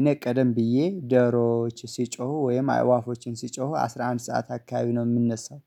እኔ ቀደም ብዬ ደሮዎች ወይም አእዋፎችን ሲጮሁ አስራ አምስት ሰዓት አካባቢ ነው የምንነሳው።